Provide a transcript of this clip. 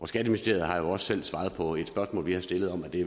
skatteministeriet har jo også svaret på et spørgsmål vi har stillet om at det